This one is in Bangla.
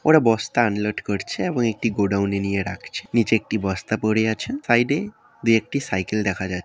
ওরা বস্তা আনলোড করছে এবং গোডাউন নিয়ে রাখছে। নিচে একটি বস্তা পরে আছে সাইডে দু একটি সাইকেল দেখা যা--